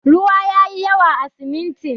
Ruwa yayi yawa a siminti.